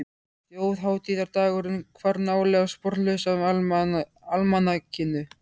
Þjóðhátíðardagurinn hvarf nálega sporlaust af almanakinu.